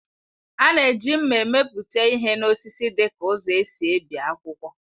A na-eji mma emepụta ihe n'osisi dịka ụzọ e si ebi akwụkwọ